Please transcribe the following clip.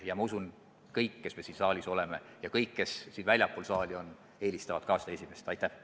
Ja ma usun, et kõik, kes siin saalis on, ja ka kõik, kes väljapool saali on, eelistavad seda esimest varianti.